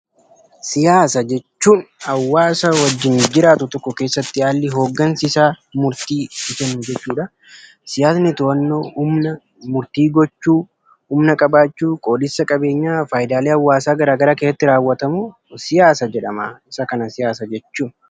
Siyaasa jechuun hawaasa wajjiin jiraatu tokko keessatti haali hoggansaa isaa murtii itti kennu jechuudha. Siyaasni hubannoo, murtii gochuu, humna qabachuu, qoodamsaa qabeenya, fayyidalee hawaasa gara garaa keessatti rawwatamuu siyaasa jedhama. Isaa kana siyaasa jechuun.